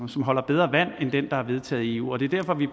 holder bedre vand end den der er vedtaget i eu og det er derfor at vi